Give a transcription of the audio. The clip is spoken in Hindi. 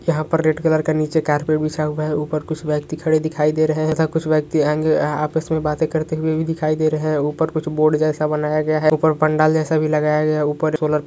यहां पर रेड कलर का नीचे कार्पेट बिछा हुआ है ऊपर कुछ व्यक्ति खड़े दिखाई दे रहे हैं ऐसा कुछ व्यक्ति आएंगे ए आपस में बातें करते हुए भी दिखाई दे रहे हैं ऊपर कुछ बोर्ड जैसा बनाया गया है ऊपर पंडाल जैसा भी लगाया गया ऊपर सोलर --